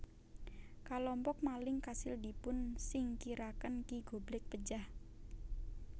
Kalompok maling kasil dipun singkiraken Ki Goblek pejah